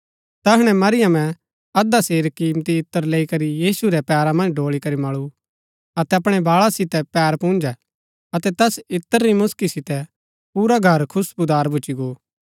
तैहणै मरीयमें अध्धा सेर किमती इत्र लैई करी यीशु रै पैरा मन्ज ड़ोळी करी मळु अतै अपणै बाळा सितै पैर पुन्जै अतै तैस इत्र री मुसकी सितै पुरा घर खुश्‍बुदार भूच्ची गो